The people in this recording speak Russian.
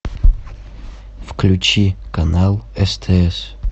включи канал стс